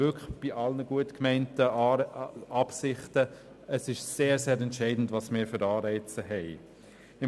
Bei allen gut gemeinten Absichten dürfen wir nicht vergessen, dass es sehr entscheidend ist, welche Anreize wir haben.